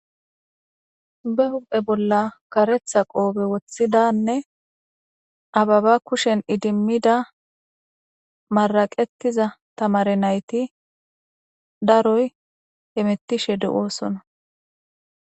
be huphphe bolla karetha qoobe wothidanne ababa kushen idimmida maraqettiza tamare nayti daroy hemettishe de7oosona